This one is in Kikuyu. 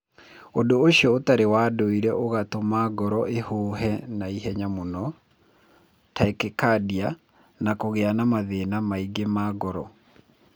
Ũndũ ũcio ũtarĩ wa ndũire ũgatũma ngoro ĩhũhe na ihenya mũno (tachycardia) na kũgĩa na mathĩna mangĩ ma ngoro.